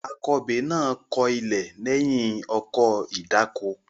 Akọbè náà kọ ilẹ̀ lẹ́yìn ọkọ̀ ìdáko.